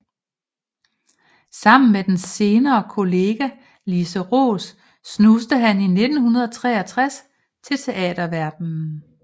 Sammen med den senere kollega Lise Roos snuste han i 1963 til teaterverdenen